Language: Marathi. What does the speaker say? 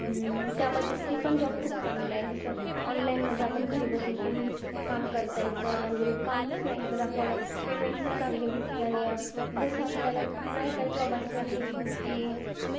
त्यामध्ये ते पण job खूप चांगला आहे. जसं, online मध्ये आपण घरी बसून पण काम करता येतं, आणि कामच नाही तर आपल्याला payment पण चांगली भेटती. आणि जसं आपल्याला काहीकाही job असे आहेत कि,